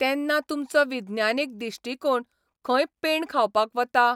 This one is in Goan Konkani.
तेन्ना तुमचो विज्ञानीक दिश्टिकोण खंय पेंड खावपाक बता?